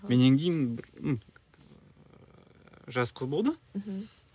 менен кейін жас қыз болды мхм